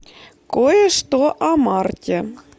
кое что о марте